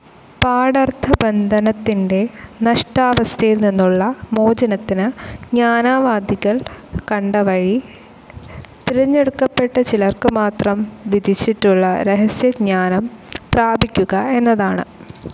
പാഠർത്ഥബന്ധനത്തിൻ്റെ നഷ്ടാവസ്ഥയിൽനിന്നുള്ള മോചനത്തിന് ജ്ഞാനവാദികൾ കണ്ട വഴി, തിരഞ്ഞെടുക്കപ്പെട്ട ചിലർക്കുമാത്രം വിധിച്ചിട്ടുള്ള രഹസ്യജ്ഞാനം പ്രാപിക്കുക എന്നതാണ്.